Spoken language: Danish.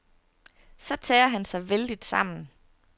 Så tager han sig vældigt sammen.